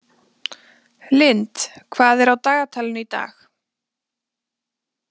Lynd, hvað er á dagatalinu í dag?